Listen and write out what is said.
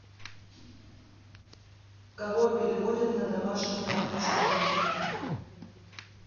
кого переводят на домашнее обучение